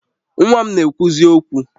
Nwa m na-ekwuzi okwu